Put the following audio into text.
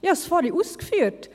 Ich habe es vorhin ausgeführt: